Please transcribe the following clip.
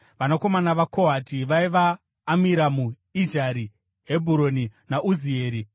Vanakomana vaKohati vaiva: Amiramu, Izhari, Hebhuroni naUzieri.